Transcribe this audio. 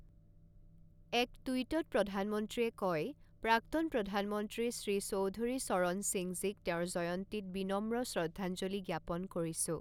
এক টুইটত প্ৰধানমন্ত্ৰীয়ে কয়, প্ৰাক্তন প্ৰধানমন্ত্ৰী শ্ৰী চৌধুৰী চৰণ সিঙজীক তেওঁৰ জয়ন্তীত বিনম্ৰ শ্ৰদ্ধাঞ্জলি জ্ঞাপন কৰিছোঁ।